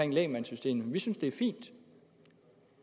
om lægmandssystemet vil synes det er fint